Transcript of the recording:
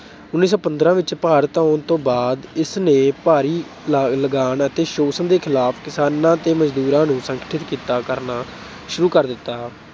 ਉੱਨੀ ਸੌ ਪੰਦਰਾਂ ਵਿੱਚ ਭਾਰਤ ਆਉਣ ਤੋਂ ਬਾਅਦ ਇਸਨੇ ਭਾਰੀ ਲਗਾਨ ਅਤੇ ਸ਼ੋਸ਼ਣ ਦੇ ਖਿਲਾਫ ਕਿਸਾਨਾਂ ਤੇ ਮਜ਼ਦੂਰਾਂ ਨੂੰ ਸੰਗਠਿਤ ਕੀਤਾ ਅਹ ਕਰਨਾ ਸ਼ੂਰੂ ਕਰ ਦਿੱਤਾ।